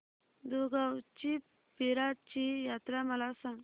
दुगावची पीराची यात्रा मला सांग